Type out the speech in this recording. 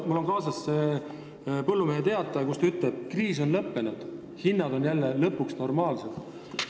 Mul on kaasas Põllumehe Teataja, kus ta ütleb, et kriis on lõppenud, hinnad on jälle lõpuks normaalsed.